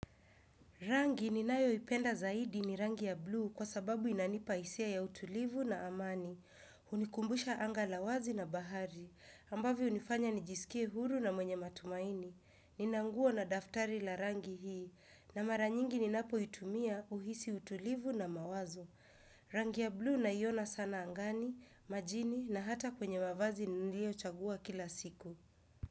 Rangi ninayo ipenda zaidi ni rangi ya blue kwa sababu inanipa hisia ya utulivu na amani. Hunikumbusha angala wazi na bahari, ambavyo hunifanya nijiskie huru na mwenye matumaini. Ninanguo na daftari la rangi hii, na maranyingi ni napoitumia uhisi utulivu na mawazo. Rangi ya blue naiona sana angani, majini na hata kwenye mavazi niliyochagua kila siku.